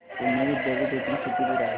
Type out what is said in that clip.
पुणे विद्यापीठ इथून किती दूर आहे